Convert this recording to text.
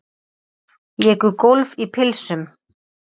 Léku golf í pilsum